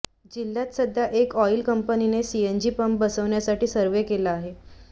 जिल्ह्यात सध्या एका ऑईल कंपनीने सीएनजी पंप बसवण्यासाठी सर्व्हे केला आहे